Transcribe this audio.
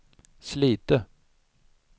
Slite